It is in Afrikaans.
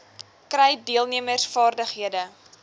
kry deelnemers vaardighede